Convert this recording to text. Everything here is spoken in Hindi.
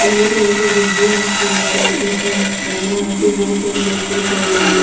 येलो कलर के भी डब्बे है और यहां पे बहोत सारे बॉक्सेस है अलग अलग--